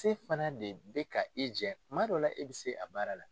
Se fana de bɛ ka e jɛ tuma dɔw la e bɛ se a baara la.